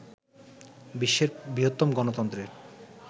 বিশ্বের বৃহত্তম গণতন্ত্রের